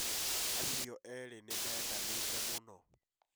Acio erĩ nĩ mendanĩte mũno